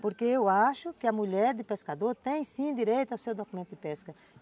Porque eu acho que a mulher de pescador tem, sim, direito ao seu documento de pesca.